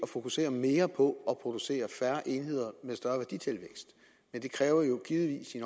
fokusere mere på at producere færre enheder med større værditilvækst men det kræver jo givetvis i